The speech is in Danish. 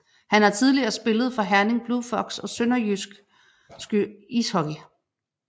Han har tidligere spillet for Herning Blue Fox og SønderjyskE Ishockey